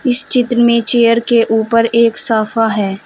इस चित्र में चेयर के ऊपर एक साफा है।